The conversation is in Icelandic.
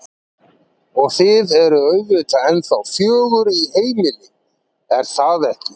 Og þið eruð auðvitað ennþá fjögur í heimili, er það ekki?